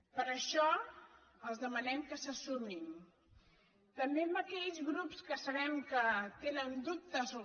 per això els demanem que s’hi sumin també a aquells grups que sabem que tenen dubtes o